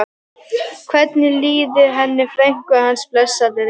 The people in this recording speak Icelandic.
Hvernig liði henni frænku hans, blessaðri?